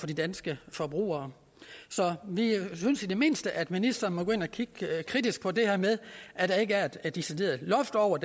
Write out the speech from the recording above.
de danske forbrugere vi synes i det mindste at ministeren må gå ind at kigge kritisk på det her med at der ikke er et decideret loft over